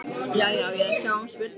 Jæja, á ég að sjá um spurningarnar?